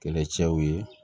Kɛlɛcɛw ye